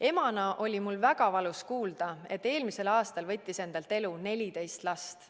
Emana oli mul väga valus kuulda, et eelmisel aastal võttis endalt elu 14 last.